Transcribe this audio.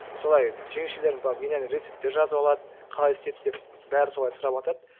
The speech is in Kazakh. солай жеңешелерім барып менен рецептер жазып алады қалай істейді деп бәрі солай сұраватады